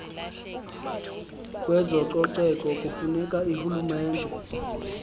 yezococeko kufuneka urhulumente